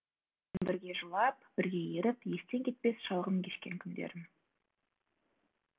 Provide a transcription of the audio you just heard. бірге жылап бірге еріп естен кетпес шалғын кешкен күндерім